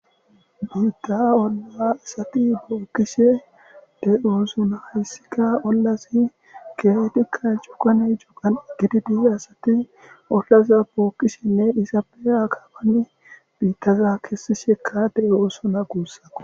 Haatta olla asati bookishe de'iossonna hayssikka ollazi keehidikka cuggan cuggan gididi asati oogeza bookishin asati izappe aakapan biittazakka keesishe de'iossonnakko